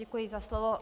Děkuji za slovo.